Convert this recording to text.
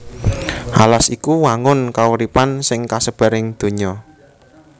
Alas iku wangun kauripan sing kasebar ing donya